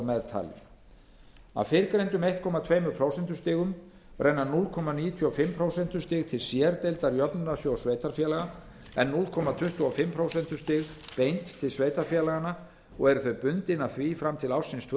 meðtalinn af fyrrgreindum einn komma tveimur prósentustigum renna núll komma níutíu og fimm prósentustig til sérdeildar jöfnunarsjóðs sveitarfélaga en núll komma tuttugu og fimm prósentustig beint til sveitarfélaganna og eru þau bundin af því fram til ársins tvö